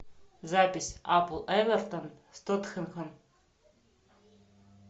запись апл эвертон с тоттенхэм